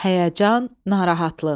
Həyəcan, narahatlıq.